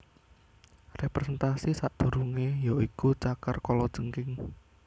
Representasi sakdurunge ya iku cakar kalajengking